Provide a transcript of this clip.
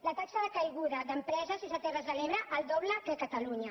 la taxa de caiguda d’empreses és a terres de l’ebre el doble que a catalunya